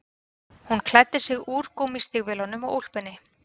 Hann klæddi sig úr gúmmístígvélunum og úlpunni